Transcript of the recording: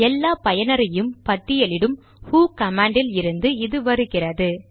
எல்லா பயனரையும் பட்டியலிடும் ஹு கமாண்ட் இல் இருந்து இது வருகிறது